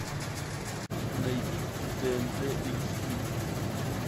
найди тнт эйч ди